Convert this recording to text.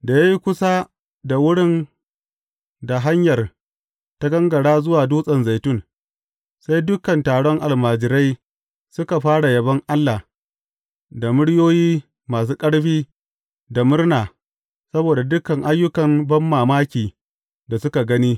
Da ya yi kusa da wurin da hanyar ta gangara zuwa Dutsen Zaitun, sai dukan taron almajirai suka fara yabon Allah, da muryoyi masu ƙarfi, da murna, saboda dukan ayyukan banmamaki da suka gani.